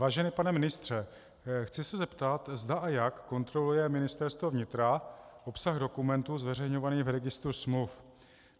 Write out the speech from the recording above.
Vážený pane ministře, chci se zeptat, zda a jak kontroluje Ministerstvo vnitra obsah dokumentů zveřejňovaných v registru smluv.